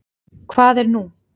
Hvað er nú?